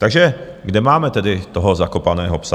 Takže kde máme tedy toho zakopaného psa?